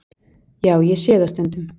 Já, ég sé það stundum.